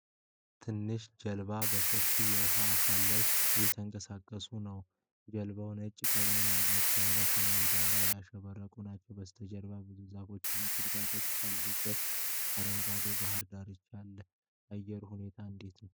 ትናንሽ ጀልባዎች በሰፊው የውሃ አካል ላይ እየተንቀሳቀሱ ነው። ጀልባዎቹ ነጭ ቀለም ያላቸውና በሰማያዊ ዳርቻ ያሸበረቁ ናቸው። ከበስተጀርባ ብዙ ዛፎች እና ቁጥቋጦዎች ያሉበት አረንጓዴ የባህር ዳርቻ አለ። የአየሩ ሁኔታ እንዴት ነው?